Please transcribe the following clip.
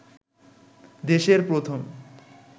দেশের প্রথম